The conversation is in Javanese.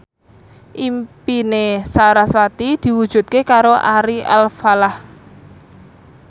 impine sarasvati diwujudke karo Ari Alfalah